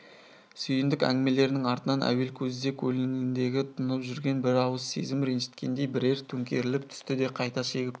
сүйіндік әңгімелерінің артынан әуел кезде көңіліндегі тұнып жүрген бір ауыр сезім ренжіткендей бірер төңкеріліп түсті де қайта шегіп